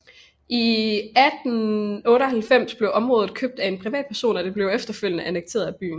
I 1898 blev området købt af af en privatperson og det blev efterfølgende annekteret af byen